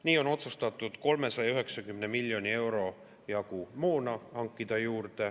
Nii on otsustatud 390 miljoni euro jagu moona juurde hankida.